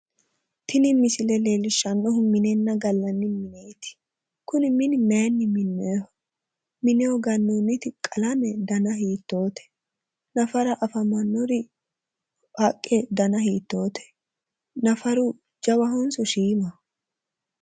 Tini misile leellishshannohu minenna gallanni mineeti. Kuni mini mayinni minnoyiho? Mineho gannoonniti qalame dana hiittoote? Nafara afamannori haqqe dana hiittoote? Nafaru jawahonso shiimaho?